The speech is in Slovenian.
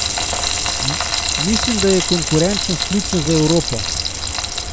Mislim, da je konkurenčnost ključna za Evropo.